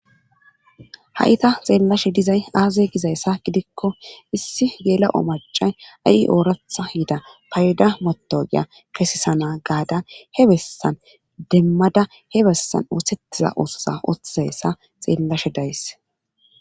hayta xeellashe dizay aaze gizayssa gidikko issi geela7o macay a7i ooratha yida payda motogiya kesisana gaada he bessan demmada he bessan oosettiza oososa oththesa xeellashe days